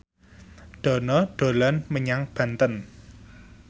Dono dolan menyang Banten